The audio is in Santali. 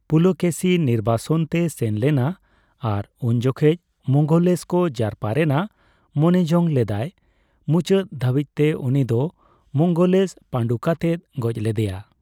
ᱯᱩᱞᱚᱠᱮᱥᱤ ᱱᱤᱨᱵᱟᱥᱚᱱ ᱛᱮᱭ ᱥᱮᱱ ᱞᱮᱱᱟ, ᱟᱨ ᱩᱱ ᱡᱚᱠᱷᱮᱡ ᱢᱚᱱᱜᱚᱞᱥᱳᱠ ᱡᱟᱨᱯᱟ ᱨᱮᱱᱟᱜ ᱢᱚᱱᱮᱡᱚᱝ ᱞᱮᱫᱟᱭ ; ᱢᱩᱪᱟᱹᱫ ᱫᱷᱟᱹᱵᱤᱡᱼᱛᱮ ᱩᱱᱤᱫᱚ ᱢᱚᱝᱜᱚᱞᱮᱥ ᱯᱟᱹᱰᱩ ᱠᱟᱛᱮᱭ ᱜᱚᱡᱽ ᱞᱮᱫᱮᱭᱟ ᱾